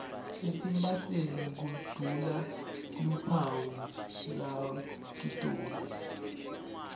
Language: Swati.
etimphahleni kudula luphawu lakitona